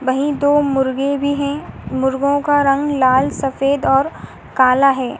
वहीं दो मुर्गे भी हैं। मुर्गों का रंग लाल सफ़ेद और काला है।